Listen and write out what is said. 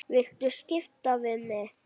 Viltu skipta við mig?